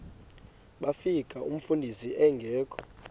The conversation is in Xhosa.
bafika umfundisi engekho